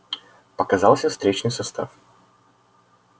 показался встречный состав